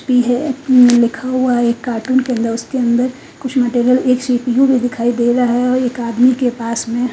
P है उम्म लिखा हुआ है एक काटून के अंदर उसके अंदर कुछ मटेरियल एक सी_पी_यू भी दिखाई दे रहा है और एक आदमी के पास में --